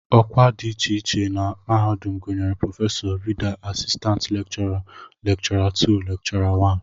Ọkwa dị iche iche na mahadum gụnyere prọfesọ, Rida, asistantị lekchọra, lekchọra 2, lekchọra 1